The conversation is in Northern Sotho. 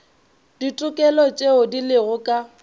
ditokelo tšeo di lego ka